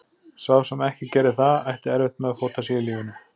Sá sem ekki gerði það, ætti erfitt með að fóta sig í lífinu.